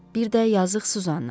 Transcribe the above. Bir də yazıq Suzanna.